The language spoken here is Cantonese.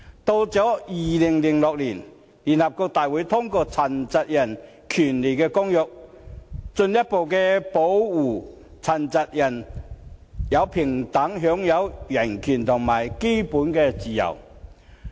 到了2006年，聯合國大會通過《殘疾人權利公約》，進一步保護殘疾人士平等享有人權和基本自由。